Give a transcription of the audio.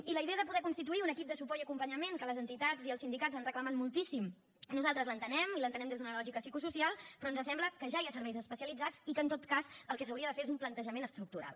i la idea de poder constituir un equip de suport i acompanyament que les entitats i els sindicats han reclamat moltíssim nosaltres l’entenem i l’entenem des d’una lògica psicosocial però ens sembla que ja hi ha serveis especialitzats i que en tot cas el que s’hauria de fer és un plantejament estructural